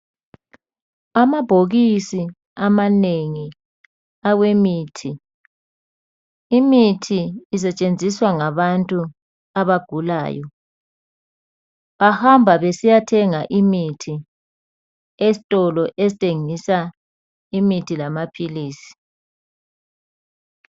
Amabhokisi amanengi awemithi, imithi isetshenziswa ngabantu abagulayo bahamba besiyathenga esitolo ikuthengiswa khona imithi lamapills